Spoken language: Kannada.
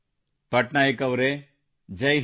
ಪಟ್ನಾಯಕ್ ಅವರೆ ಜೈ ಹಿಂದ್